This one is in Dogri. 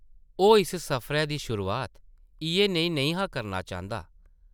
ओह् इस सफरै दी शुरुआत इʼयै नेही नेईं हा करना चांह्दा ।